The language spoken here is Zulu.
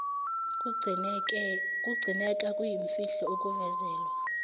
kugcineka kuyimfihlo akuvezelwa